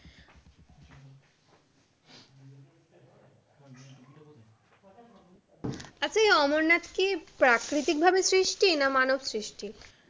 আচ্ছা এই অমরনাথ কি প্রাকৃতিক ভাবে সৃষ্টি না মানব সৃষ্টি?